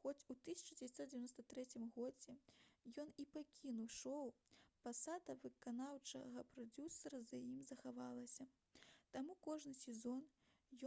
хоць у 1993 годзе ён і пакінуў шоу пасада выканаўчага прадзюсара за ім захавалася таму кожны сезон